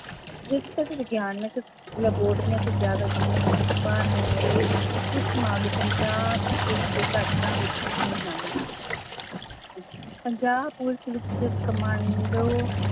ਵਿਗਿਆਨਕ ਲੈਬੋਰਟਰੀਆਂ ਤੇ ਜ਼ਿਆਦਾ ਜ਼ਿੰਮੇਵਾਰ ਹੋਣ ਵਾਲੇ ਉੱਚ ਮਾਮਲੇ ਪੰਜਾਬ ਪੁਲਿਸ ਦੇ ਵਿੱਚ ਹੀ ਹਨ ਪੰਜਾਬ ਪੁਲਿਸ ਵਿੱਚ ਕਮਾਂਡੋ